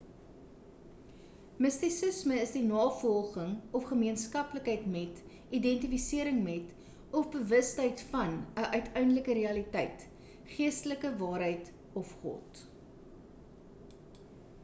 mistisisme is die navolging of gemeenskaplikheid met identifisering met of bewustheid van 'n uiteindelike realiteit geestelike waarheid of god